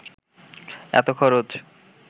এত খরচ